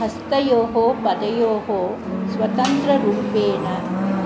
हस्तयोः पदयोः स्वतन्त्ररुपेण्